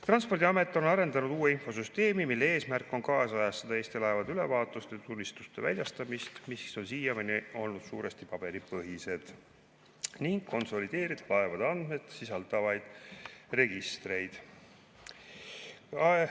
Transpordiamet on arendanud välja uue infosüsteemi, mille eesmärk on kaasajastada Eesti laevade ülevaatust ja tunnistuste väljastamist – need on siiani olnud suuresti paberipõhised – ning konsolideerida laevade andmeid sisaldavaid registreid.